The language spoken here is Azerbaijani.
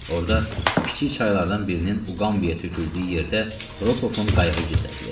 Orda kiçik çaylardan birinin Uqambiyaya töküldüyü yerdə Rokovun qayığı gizlədilib.